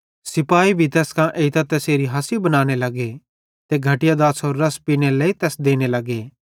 सिपाही भी तैस कां एइतां तैसेरी हासी बनाने लगे किजोकि तै अपनो आप राज़ो बनातो थियो ते घटया दाछ़ारो रस पीनेरे लेइ तैस देने लगे